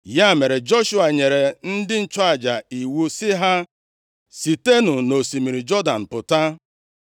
Ya mere Joshua nyere ndị nchụaja iwu sị ha, “Sitenụ nʼosimiri Jọdan pụta.”